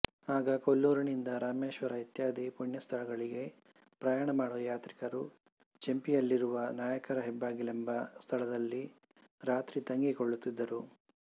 ಆಗ ಕೊಲ್ಲೂರಿನಿಂದ ರಾಮೇಶ್ವರ ಇತ್ಯಾದಿ ಪುಣ್ಯಸ್ಥಳಗಳಿಗೆ ಪ್ರಯಾಣ ಮಾಡುವ ಯಾತ್ರಿಕರು ಚೇಂಪಿಯಲ್ಲಿರುವ ನಾಯಕರ ಹೆಬ್ಬಾಗಿಲೆಂಬ ಸ್ಥಳದಲ್ಲಿ ರಾತ್ರಿ ತಂಗಿಕೊಳ್ಳುತ್ತಿದ್ದರು